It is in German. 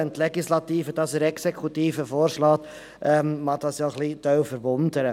Wenn die Legislative dies der Exekutive vorschlägt, mag dies einige erstaunen.